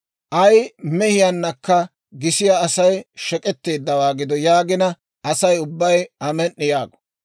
« ‹Ay mehiyaannakka gisiyaa Asay shek'etteeddawaa gido› yaagina, Asay ubbay, ‹Amen"i!› yaago.